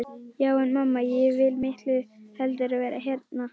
Já en mamma, ég vil miklu heldur vera hérna.